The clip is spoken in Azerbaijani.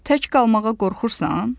Tək qalmağa qorxursan?